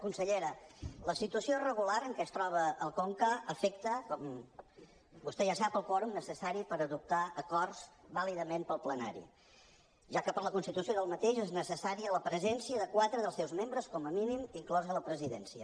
consellera la situació irregular en què es troba el conca afecta com vostè ja sap el quòrum necessari per adoptar acords vàlidament pel plenari ja que per a la seva constitució és necessària la presència de quatre dels seus membres com a mínim inclosa la presidència